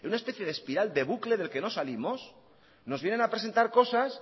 en una especie de espiral de bucle del que no salimos nos vienen a presentar cosas